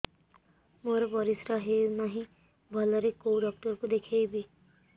ମୋର ପରିଶ୍ରା ହଉନାହିଁ ଭଲରେ କୋଉ ଡକ୍ଟର କୁ ଦେଖେଇବି